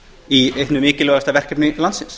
í einu mikilvægasta verkefni landsins